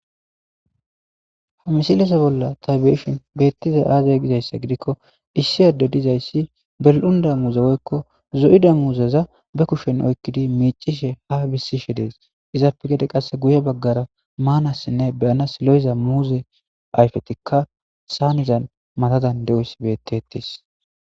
Ha misileza bolla ta beyishin betizay azee gizaysa gidikon issi addey de'izaysi zo'da muzeza ba kushen oykidi mic'ishe has besishe dees. Izappe qase gede guye bagara maanawnne ayfes lo'iza muuze ayfeti saanera madadan de'etes.